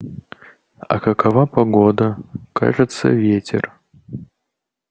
а какова погода кажется ветер